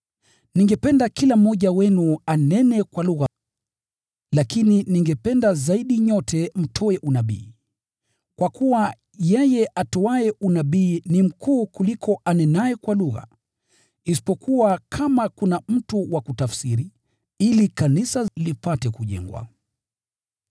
Ningependa kila mmoja wenu anene kwa lugha lakini ningependa zaidi nyote mtoe unabii. Kwa kuwa yeye atoaye unabii ni mkuu kuliko anenaye kwa lugha, isipokuwa atafsiri, ili kanisa lipate kujengwa.